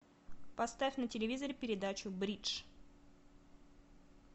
поставь на телевизоре передачу бридж